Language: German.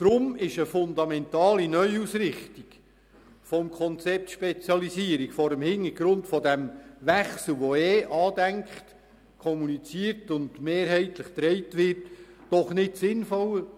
Deshalb ist eine fundamentale Neuausrichtung des Konzepts «Spezialisierung» vor dem Hintergrund dieses Wechsels, der eh bereits angedacht, kommuniziert und mehrheitlich getragen wird, doch nicht sinnvoll.